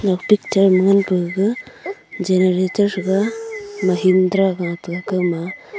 e picture picture ma ngan ka gaga generator threga minhindra gataiga gama.